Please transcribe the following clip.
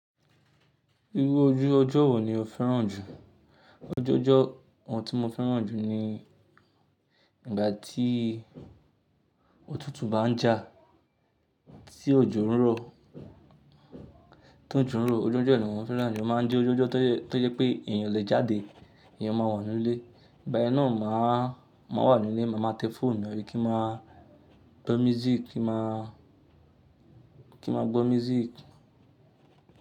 Irú ojú ọjọ́ wo ni o fẹ́ràn jù? Ojú ọjọ́ tí mo fẹ́ràn jù ni ìgbà tí òtútù bá ń jà tí òjò ń rọ̀, tójo n rọ̀ ojú ọjọ́ yen ni mo fẹ́ràn jù o máa ń jẹ́ ojú ọjọ́ tó jẹ pé èeyàn i lè jáde, eèyàn máa wà nínú ilé. Ìgbà yen náà m̀áa maa wà nínú ilé, ma màá tẹ fóònù mi, abi kí n maa gbọ́ music, kí n maa, kí n maa gbọ́ music.